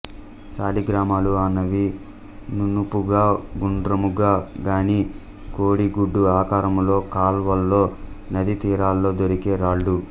సాలిగ్రామాలు అన్నవి నునుపుగా గుండ్రముగా గానీ కోడిగుడ్డు ఆకారములో కాల్వల్లో నదీ తీరాల్లో దొరికే రాళ్ళు